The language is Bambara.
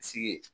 Sigi